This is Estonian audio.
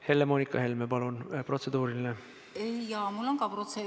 Helle-Moonika Helme, palun, protseduuriline!